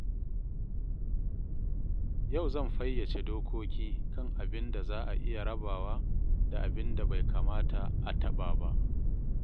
Yau zan fayyace dokoki kan abin da za a iya rabawa da abin da bai kamata a taɓa ba.